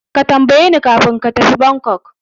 Ka tambayeni kafin ka tafi Bangkok.